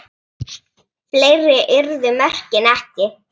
Fleiri urðu mörkin ekki.